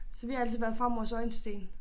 Så vi har altid været farmors øjesten